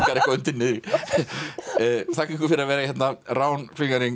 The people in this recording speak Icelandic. eitthvað undir niðri þakka ykkur fyrir að vera hérna rán